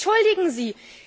Entschuldigen Sie!